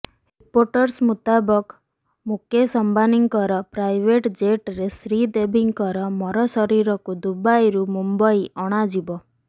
reports ମୁତାବକ ମୁକେଶ ଅଂବାନୀଙ୍କର private ଜେଟରେ ଶ୍ରୀଦେବୀଙ୍କର ମରଶରୀରକୁ ଦୁବାଇରୁ ମୁମ୍ବାଇ ଅଣାଯିବ